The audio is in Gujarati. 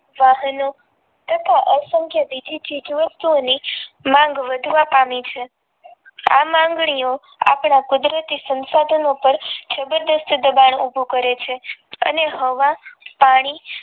વાહનો તથા અસંખ્ય બીજી ચીજ વસ્તુઓની માંગ વધવા પામી છે આ માંગણીયો આપણા કુદરતી સંસાધનો ઉપર જબરજસ્ત દબાણ ઉભુ કરે છે અને હવા પાણી